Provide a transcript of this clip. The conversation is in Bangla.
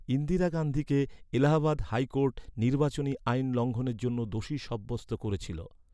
ইন্দিরা গান্ধীকে এলাহাবাদ হাইকোর্ট নির্বাচনী আইন লঙ্ঘনের জন্য দোষী সাব্যস্ত করেছিল।